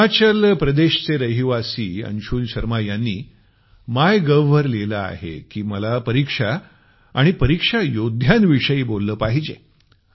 हिमाचल प्रदेशचे रहिवासी अंशुल शर्मा यांनी मायगोव वर लिहिलं आहे की मला परीक्षा आणि परीक्षा योद्ध्यांविषयी बोललं पाहिजे